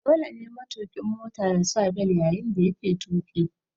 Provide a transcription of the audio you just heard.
Dole ne matuƙin Mota yasa bel yayin da yake tuƙi